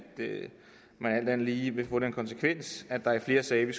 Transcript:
det alt andet lige vil få den konsekvens at der i flere sager vil